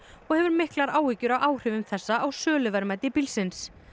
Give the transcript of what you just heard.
og hefur miklar áhyggjur af áhrifum þessa á söluverðmæti bílsins